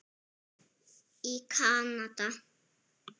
í Kanada.